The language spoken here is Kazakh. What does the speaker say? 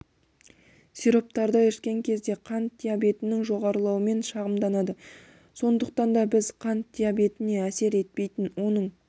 сироптарды ішкен кезде қант диабетінің жоғарылауымен шығамданады сондықтан да біз қант диабетіне әсер етпейтін оның